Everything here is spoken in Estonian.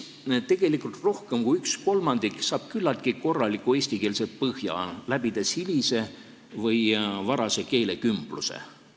Tegelikult saab rohkem kui kolmandik küllaltki korraliku eestikeelse põhja, tehes läbi hilise või varase keelekümbluse.